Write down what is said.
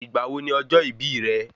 Ìgbà wo ni ọjọ́ ìbí rẹ?